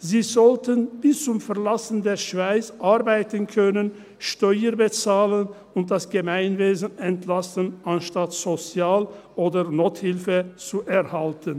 Sie sollen bis zum Verlassen der Schweiz arbeiten können, Steuern bezahlen und das Gemeinwesen entlasten, anstatt Sozial- oder Nothilfe zu erhalten.